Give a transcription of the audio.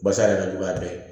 Basa yɛrɛ ka jugu a bɛɛ ye